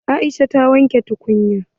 Aisha ta wanke tukunyan.